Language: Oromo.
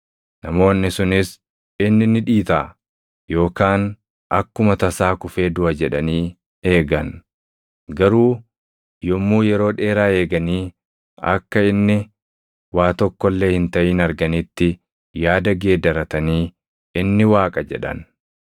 Namoonni sunis, “Inni ni dhiitaʼa yookaan akkuma tasaa kufee duʼa” jedhanii eegan; garuu yommuu yeroo dheeraa eeganii akka inni waa tokko illee hin taʼin arganitti yaada geeddaratanii, “Inni waaqa” jedhan.